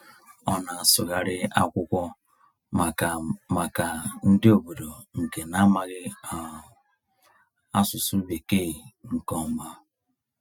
Ọ na-asụgharị akwụkwọ maka maka ndị obodo nke na-amaghị um asụsụ Bekee nke ọma.